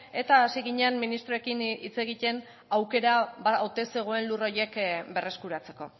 eta hasi ginen ministroekin hitz egiten aukera ote zegoen lur horiek berreskuratzeko